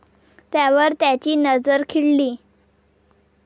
त्यावर त्याची नजर खिळली.